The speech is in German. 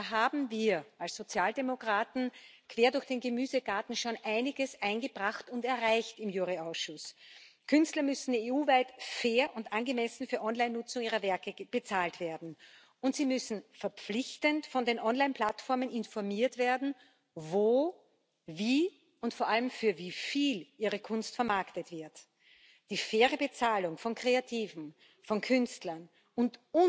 Und da haben wir als Sozialdemokraten quer durch den Gemüsegarten schon einiges im Rechtsausschuss eingebracht und erreicht. Künstler müssen EU weit fair und angemessen für Online Nutzung ihrer Werke bezahlt werden, und sie müssen verpflichtend von den Online Plattformen informiert werden, wo, wie und vor allem für wie viel ihre Kunst vermarktet wird. Die faire Bezahlung von Kreativen, von Künstlern und